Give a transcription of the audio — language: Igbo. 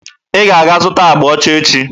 Ị ga-aga zụta agba ọcha echi!